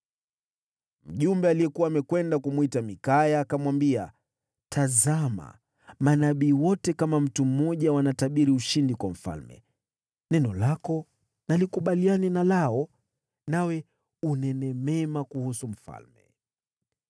Mjumbe aliyekuwa amekwenda kumwita Mikaya akamwambia, “Tazama, manabii wote kama mtu mmoja wanatabiri ushindi kwa mfalme. Neno lako na likubaliane na lao, nawe unene mema kuhusu mfalme.”